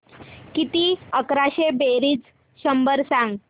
किती अकराशे बेरीज शंभर सांग